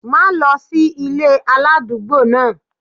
Má lọ sí ilé aládùúgbò náà!